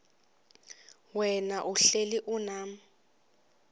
wena uhlel unam